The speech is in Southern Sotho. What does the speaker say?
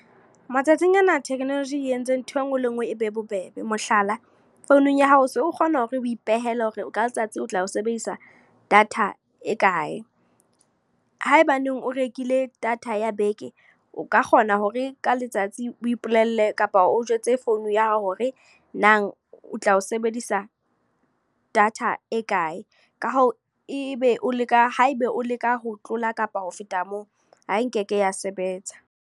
Matsatsing a na technology e entse ntho e nngwe le e nngwe e be bobebe. Mohlala, founung ya hao o so kgona hore o ipehele hore ka letsatsi o tla o sebedisa data e kae. Haebaneng o rekile data ya beke, o ka kgona hore ka letsatsi o ipolelle kapa o jwetse founu ya hao hore nang o tla o sebedisa data e kae. Ka hoo, e be o leka, haeba o leka ho tlola kapa ho feta moo. Ha e ke ke ya sebetsa.